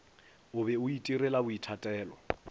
o be a itirela boithatelo